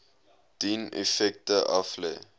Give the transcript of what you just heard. dien effekte aflê